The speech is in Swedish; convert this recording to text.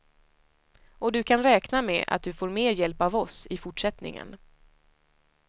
Och du kan räkna med att du får mer hjälp av oss i fortsättningen.